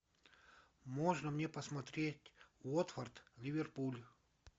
можно мне посмотреть уотфорд ливерпуль